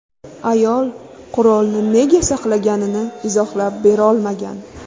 Ayol qurolni nega saqlaganini izohlab berolmagan.